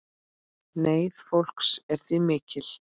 Neyð fólks er því mikil.